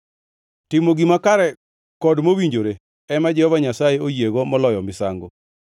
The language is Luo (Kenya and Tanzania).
Timo gima kare kod mowinjore ema Jehova Nyasaye oyiego moloyo misango.